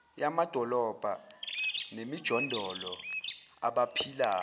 yamadolobha nemijondolo abaphila